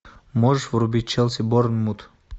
можешь врубить челси борнмут